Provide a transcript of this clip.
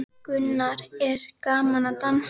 Gunnar: Er gaman að dansa?